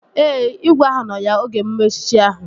Ee, igwe ahụ nọ ya oge emume echichi ahụ